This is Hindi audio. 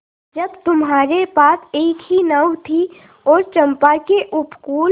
जब तुम्हारे पास एक ही नाव थी और चंपा के उपकूल